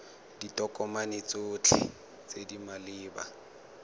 ditokomane tsotlhe tse di maleba